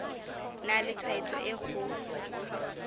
na le tshwaetso e kgolo